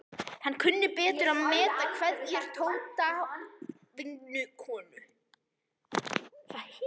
Hann kunni betur að meta kveðjur Tótu vinnukonu.